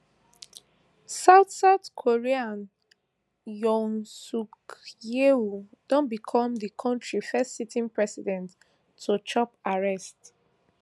south south korea yoon suk yeol don become di kontri first sitting president to chop arrest